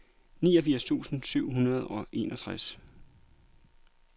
niogfirs tusind syv hundrede og enogtres